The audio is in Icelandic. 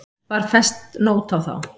Var fest nót á þá.